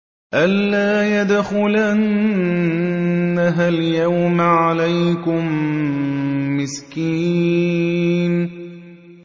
أَن لَّا يَدْخُلَنَّهَا الْيَوْمَ عَلَيْكُم مِّسْكِينٌ